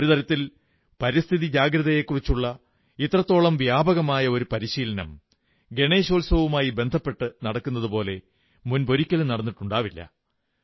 ഒരു തരത്തിൽ പരിസ്ഥിതി ജാഗ്രതയെക്കുറിച്ചുള്ള ഇത്രത്തോളം വ്യാപകമായ ഒരു പരിശീലനം ഗണേശോത്സവവുമായി ബന്ധപ്പെട്ടു നടക്കുന്നതുപോലെ മുമ്പൊരിക്കലും നടന്നിട്ടുണ്ടാവില്ല